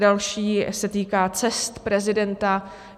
Další se týká cest prezidenta.